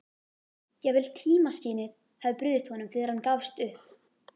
Jafnvel tímaskynið hafði brugðist honum þegar hann gafst upp.